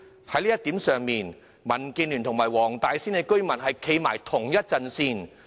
在這方面，民建聯與黃大仙居民站在同一陣線。